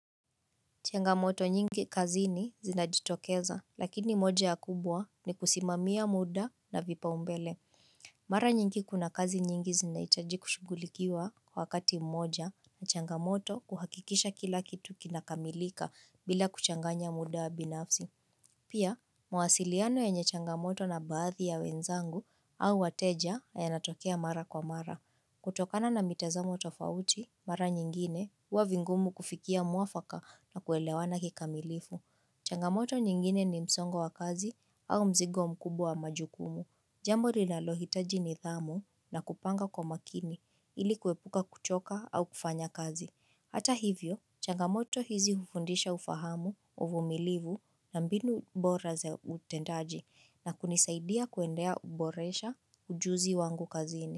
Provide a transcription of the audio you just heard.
Changamoto nyingi kazini zinajitokeza, lakini moja ya kubwa ni kusimamia muda na vipa umbele. Mara nyingi kuna kazi nyingi zinaitaji kushughulikiwa kwa wakati mmoja na changamoto kuhakikisha kila kitu kinakamilika bila kuchanganya muda wa binafsi. Pia, mawasiliano yenye changamoto na baadhi ya wenzangu au wateja yana tokea mara kwa mara. Kutokana na mitazamo tofauti mara nyingine uwa vingumu kufikia muafaka na kuelewana kikamilifu. Changamoto nyingine ni msongo wa kazi au mzigo mkubwa wa majukumu. Jambo linalohitaji nidhamu na kupanga kwa makini ili kuepuka kuchoka au kufanya kazi. Hata hivyo, changamoto hizi hufundisha ufahamu uvumilivu na mbinu bora ze utendaji na kunisaidia kuendea uboresha ujuzi wangu kazini.